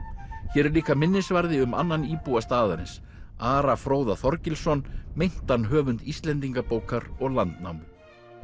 hér er líka minnisvarði um annan íbúa staðarins Ara Fróða Þorgilsson meintan höfund Íslendingabókar og Landnámu